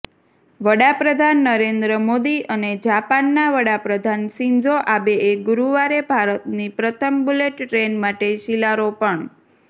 વડાપ્રધાન નરેન્દ્ર મોદી અને જાપાનના વડાપ્રધાન શિન્ઝો આબેએ ગુરુવારે ભારતની પ્રથમ બુલેટ ટ્રેન માટે શિલારોપણ